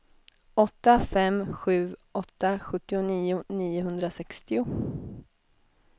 åtta fem sju åtta sjuttionio niohundrasextio